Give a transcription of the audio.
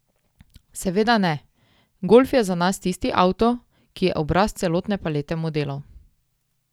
Seveda ne, golf je za nas tisti avto, ki je obraz celotne palete modelov.